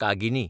कागिनी